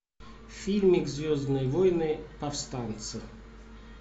фильмик звездные войны повстанцы